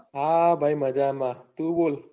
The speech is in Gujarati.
હા ભાઈ મજામાં તું બોલ